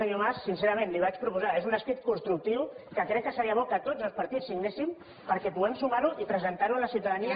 senyor mas sincerament li ho vaig proposar és un escrit constructiu que crec seria bo que tots els partits signéssim perquè puguem sumar ho i presentar ho a la ciutadania